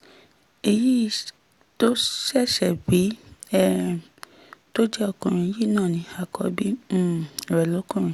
èyí tó sì ṣẹ̀ṣẹ̀ bí um tó jẹ́ ọkùnrin yìí náà ni àkọ́bí um rẹ̀ lọ́kùnrin